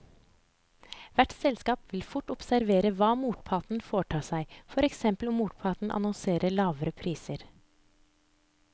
Hvert selskap vil fort observere hva motparten foretar seg, for eksempel om motparten annonserer lavere priser.